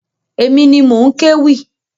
Èmi ni mò ń kéwì.